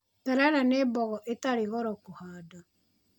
Terere nĩ mbogo itarĩ goro kũhanda.